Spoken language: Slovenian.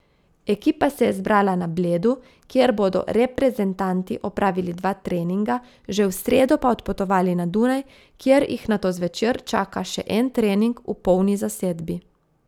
Ekipa se je zbrala na Bledu, kjer bodo reprezentanti opravili dva treninga, že v sredo pa odpotovali na Dunaj, kjer jih nato zvečer čaka še en trening v polni zasedbi.